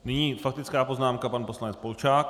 Nyní faktická poznámka - pan poslanec Polčák.